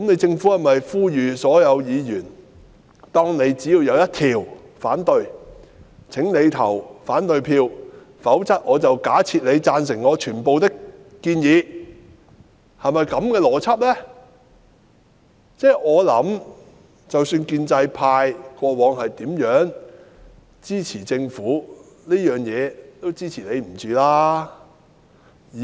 政府是否呼籲所有議員，只要反對其中一項便應投反對票，否則便假設我們贊成政府的全部建議？我想即使建制派過往如何支持政府，在這事上他們也是不能支持的。